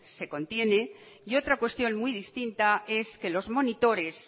se contiene y otra cuestión muy distinta es que los monitores